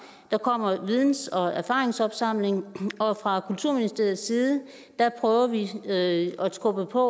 der kommer videns og erfaringsopsamling fra kulturministeriets side prøver vi at skubbe på